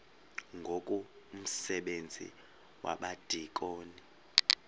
ngoku umsebenzi wabadikoni